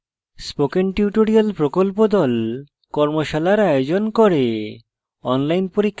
spoken tutorial প্রকল্প the কর্মশালার আয়োজন করে